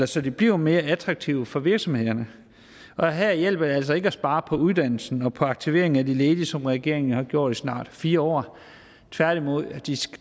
så de bliver mere attraktive for virksomhederne og her hjælper det altså ikke at spare på uddannelsen og på aktiveringen af de ledige som regeringen jo har gjort i snart fire år tværtimod